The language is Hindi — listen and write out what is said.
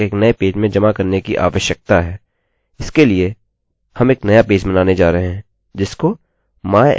इसके लिएहम एक नया पेज बनाने जा रहे हैं जिसको mysql underscore deletephp के रूप में सेव करते हैं